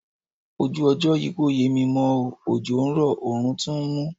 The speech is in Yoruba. Ojú ọjọ́ yí kò yẹ mi mọ́, òjò ń rọ̀, òórùn tún ń mú.